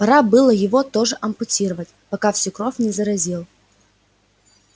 пора было его тоже ампутировать пока всю кровь не заразил